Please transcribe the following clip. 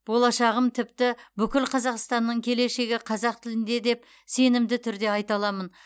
болашағым тіпті бүкіл қазақстанның келешегі қазақ тілінде деп сенімді түрде айта аламын